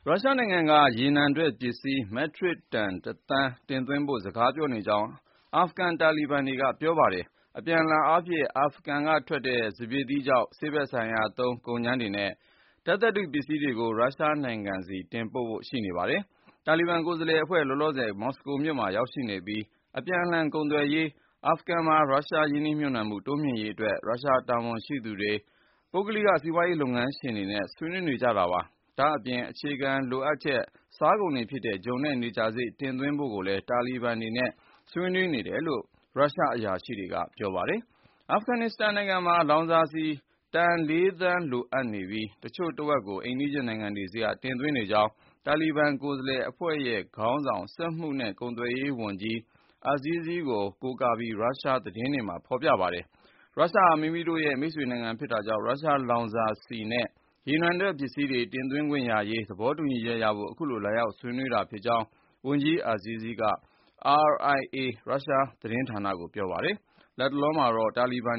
ရုရှားနိုင်ငံက ရေနံထွက်ပစ္စည်း မက်ထရစ်တန် (၁)သန်း တင်သွင်းဖို့ စကားပြောနေကြောင်း အာဖဂန်တာလီဘန်တွေက ပြောပါတယ်။ အပြန်လှန်အားဖြင့် အာဖဂန်ထွက် စပျစ်သီးခြောက်၊ ဆေးဖက်ဆိုင်ရာသုံး ကုန်ကြမ်းတွေနဲ့ ဓါတ်သတ္တုပစ္စည်းတွေကို ရုရှားနိုင်ငံဆီ တင်ပို့ဖွယ် ရှိနေပါတယ်။ တာလီဘန် ကိုယ်စားလှယ်အဖွဲ့ ၊ လောလောဆယ် မော်စကိုမြို့မှာ ရောက်ရှိနေပြီး အပြန်အလှန် ကုန်သွယ်ရေး ၊ အာဖဂန်မှာ ရုရှား ရင်းနှီးမြှုပ်နှံမှု တိုးမြှင့်ရေးအတွက် ရုရှားတာဝန်ရှိသူတွေ ၊ ပုဂ္ဂလိက စီးပွားရေး လုပ်ငန်းရှင်တွေနဲ့ ဆွေးနွေးနေကြတာပါ။ ဒါ့အပြင် အခြေခံလိုအပ်ချက် စားကုန်တွေဖြစ်တဲ့ ဂျုံနဲ့ နေကြာစေ့ တင်သွင်းဖို့ကိုလည်း တာလီဘန်တွေနဲ့ ဆွေးနွေးနေတယ်လို့ ရုရှားအရာရှိတွေက ပြောပါတယ်။ အာဖဂန်နစ္စတန် နိုင်ငံမှာ လောင်စာဆီ တန်(၄)သန်းလိုအပ်နေပြီး တချို့တဝက်ကို အိမ်နီးချင်း နိုင်ငံတွေဆီက တင်သွင်းနေကြောင်း တာလီဘန်ကိုယ်စားလှယ်အဖွဲ့ရဲ့ ခေါင်းဆောင် စက်မှုနဲ့ ကုန်သွယ်ရေးဝန်ကြီး Nuriddin Azizi ကို ကိုးကားပြီး ရုရှားသတင်းတွေက သောကြာနေ့မှာ ဖော်ပြကြပါတယ်။ ရုရှားဟာ မိမိတို့ရဲ့ မိတ်ဆွေနိုင်ငံ ဖြစ်တာကြောင့်လည်း ရုရှားလောင်စာဆီနဲ့ ရေနံထွက်ပစ္စည်းတွေ တင်သွင်းခွင့်ရရေး သဘောတူညီချက်ရဖို့ အခုလို လာရောက်ဆွေးနွေးတာလို့ ဝန်ကြီး Azizi က RIA ရုရှားအစိုးရ သတင်းဌာနကိုပြောပါတယ်။ လတ်တလောမှာတော့ တာလီဘန်